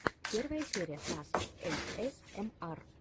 первая серия сас эй эс эм ар